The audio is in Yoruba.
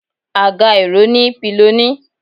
agá erò ni piloní